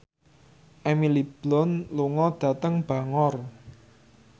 Emily Blunt lunga dhateng Bangor